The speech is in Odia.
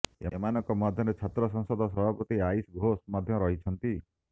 ଏମାନଙ୍କ ମଧ୍ୟରେ ଛାତ୍ର ସଂସଦ ସଭାପତି ଆଇଶି ଘୋଷ ମଧ୍ୟ ରହିଛନ୍ତି